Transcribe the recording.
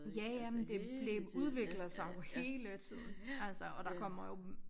Ja ja men det det udvikler sig jo hele tiden altså og der kommer jo